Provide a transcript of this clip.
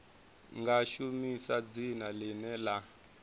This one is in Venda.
nga shumisa dzina ḽine ḽa